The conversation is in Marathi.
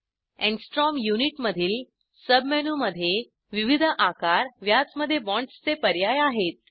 अँगस्ट्रॉम युनिटमधील सब मेनूमध्ये विविध आकार व्यासमध्ये बाँड्सचे पर्याय आहेत